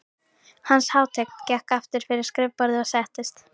Hans hátign gekk aftur fyrir skrifborðið og settist.